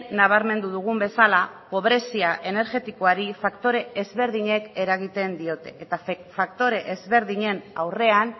nabarmendu dugun bezala pobrezia energetikoari faktore ezberdinek eragiten diote eta faktore ezberdinen aurrean